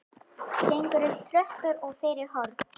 Gengur upp tröppur og fyrir horn.